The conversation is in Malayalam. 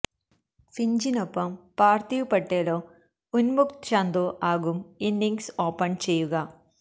ഫിഞ്ചിനൊപ്പം പാര്ഥിവ് പട്ടേലോ ഉന്മുക്ത് ചന്ദോ ആകും ഇന്നിംഗ്സ് ഓപ്പണ് ചെയ്യുക